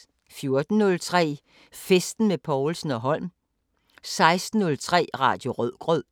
14:03: Festen med Povlsen & Holm 16:03: Radio Rødgrød